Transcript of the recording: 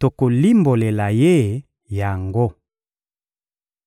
tokolimbolela ye yango!